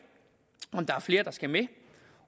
om der er flere der skal med